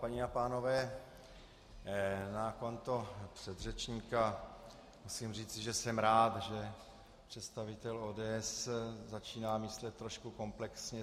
Paní a pánové, na konto předřečníka musím říci, že jsem rád, že představitel ODS začíná myslet trošku komplexně.